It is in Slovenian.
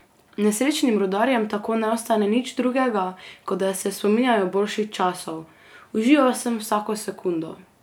Nesrečnim rudarjem tako ne ostane nič drugega, kot da se spominjajo boljših časov: "Užival sem vsako sekundo.